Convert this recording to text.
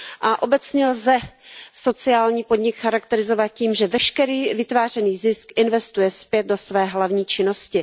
a obecně lze sociální podnik charakterizovat tím, že veškerý vytvářený zisk investuje zpět do své hlavní činnosti.